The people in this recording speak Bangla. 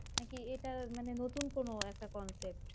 নাকি এটা মানে নতুন কোনো একটা concept